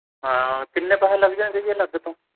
ਹਾਂ ਕਿੰਨੇ ਪੈਸੇ ਲੱਗ ਜਾਣਗੇ ਜੀ ਅਲਗ ਤੋਂ